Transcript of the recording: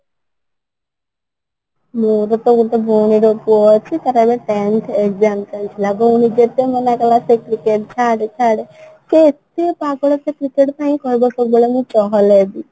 ମୋର ତ ଗୋଟେ ଭଉଣୀ ର ପୁଅ ଅଛି ତାର ଏବେ tenth exam ଚାଲିଥିଲା ଭଉଣୀ ଯେତେଥର ମନା କଲା ସେ cricket ଛାଡେ ଛାଡେ ସିଏ ଏତେ ପାଗଳ cricket ପାଇଁ କହିଲା କ'ଣ ନା ମୁ ଚହଳ ହେବି